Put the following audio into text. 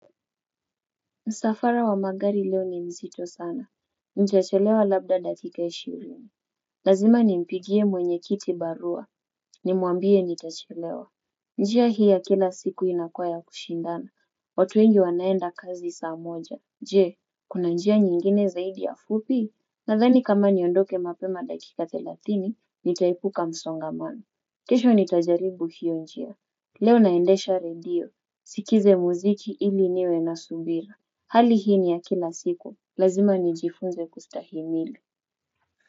Msafara wa magari leo ni mzito sana. Ntachelewa labda dakika ishirini. Lazima nimpigie mwenye kiti barua. Nimuambie nitachelewa. Njia hii ya kila siku inakuwa ya kushindana. Watu wengi wanaenda kazi saa moja. Je, kuna njia nyingine zaidi ya fupi? Nadhani kama niondoke mapema dakika thelathini, nitaepuka msongamano. Kesho nitajaribu hiyo njia. Leo naendesha radio. Sikize muziki ili niwe na subira. Hali hii ni ya kila siku lazima nijifunze kustahimili.